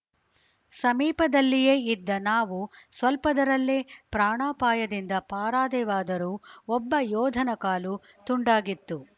ಸಮೀಪದಲ್ಲಿಯೇ ಇದ್ದ ನಾವು ಸ್ವಲ್ಪದರಲ್ಲೇ ಪ್ರಾಣಾಪಾಯದಿಂದ ಪಾರಾದೆವಾದರೂ ಒಬ್ಬ ಯೋಧನ ಕಾಲು ತುಂಡಾಗಿತ್ತು